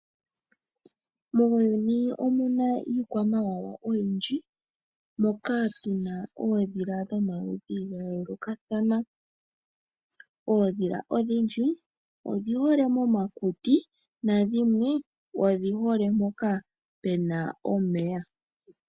Muuyuni omuna iikwamawawa oyindji, moka tu na oondhila dhomaludhi gayoolokathana. Oondhilanodhindji odhihole momakuti nadhimwe odhihole momeya.